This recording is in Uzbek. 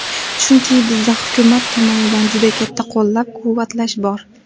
Chunki bizda hukumat tomonidan juda katta qo‘llab-quvvatlash bor.